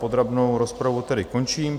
Podrobnou rozpravu tedy končím.